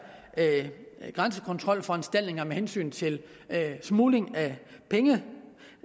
grænsekontrolforanstaltninger med hensyn til smugling